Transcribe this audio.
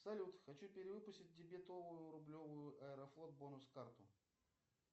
салют хочу перевыпустить дебетовую рублевую аэрофлот бонус карту